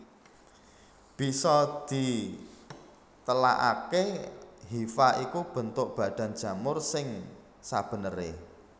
Bisa ditelakaké hifa iku bentuk badan jamur sing sabeneré